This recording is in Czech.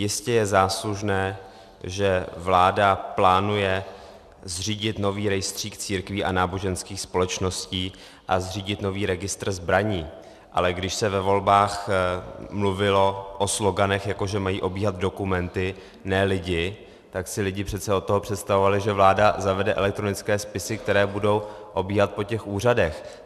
Jistě je záslužné, že vláda plánuje zřídit nový rejstřík církví a náboženských společností a zřídit nový registr zbraní, ale když se ve volbách mluvilo o sloganech, jako že mají obíhat dokumenty, ne lidi, tak si lidé přece od toho představovali, že vláda zavede elektronické spisy, které budou obíhat po těch úřadech.